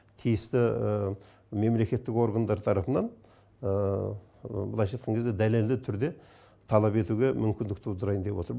тиісті мемлекеттік органдар тарапынан былайша айтқан кезде дәлелді түрде талап етуге мүмкіндік тудырайын деп отыр